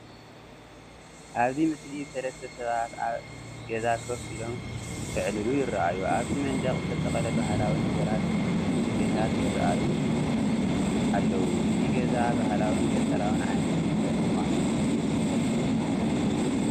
ኣብዚ ምስሊ ሰለስተ ሰባት ኣብ ኣገዛ ኮፍ ኢሎም ክዕልሉ ይረኣዩ። ኣብቲ መንደቕ ዝተሰቕለ ባህላዊ ነገራትን ስፈታትን ይረኣዩ ኣለው ።እዚ ገዛ ባህላውን ገጠራውን ዓይነት መንበሪ ምዃኑ የመልክቱ።